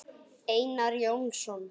Einar Jónsson